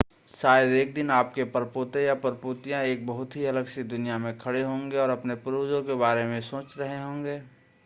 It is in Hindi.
शायद एक दिन आपके परपोते या परपोतियां एक बहुत ही अलग सी दुनिया में खडे होंगे और अपने पूर्वजों के बारे में सोच रहे होंगे